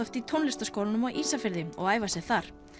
í tónlistarskólanum á Ísafirði og æfa sig þar